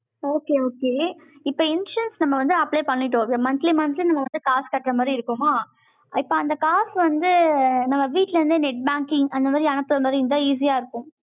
okay, okay இப்ப insurance நம்ம வந்து, apply பண்ணிட்டோம். so, monthly, monthly நம்ம வந்து, காசு கட்டுற மாதிரி இருக்குமோ இப்ப அந்த காசு வந்து, நம்ம வீட்ல இருந்தே net banking அந்த மாதிரி அனுப்புற மாதிரி, இருந்தா easy ஆ இருக்கும்.